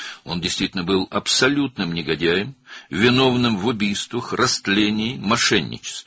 O, həqiqətən də, qətllərdə, pozğunluqda, fırıldaqçılıqda günahkar olan tam bir alçaq idi.